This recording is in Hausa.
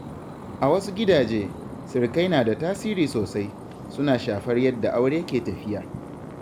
A wasu gidaje, sirikai na da tasiri sosai, suna shafar yadda aure ke tafiya.